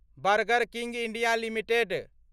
burger King India limited